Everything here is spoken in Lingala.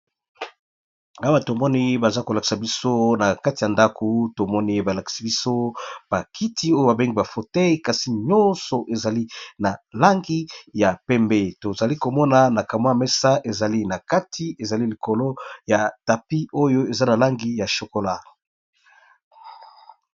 Awa to moni baza ko lakisa biso na kati ya ndako to moni ba lakisi biso ba kiti oyo ba bengi ba fauteuils kasi nyonso ezali na langi ya pembe, tozali ko mona na ka mwa mesa ezali na kati ezali likolo ya tapis oyo eza na langi ya chocola.